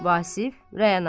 Vasıf, Rəanaya.